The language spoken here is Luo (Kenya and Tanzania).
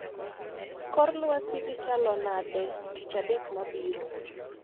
Kor lwasi dhi chalo nade tich adek mabiro